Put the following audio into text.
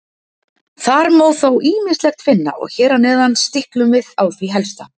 Þar má þó ýmislegt finna og hér að neðan stiklum við á því helsta.